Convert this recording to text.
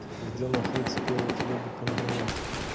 где находится первый хлебокомбинат